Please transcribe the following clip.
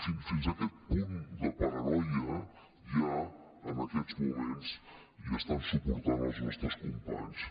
fins aquest punt de paranoia hi ha en aquests moments i estan suportant els nostres companys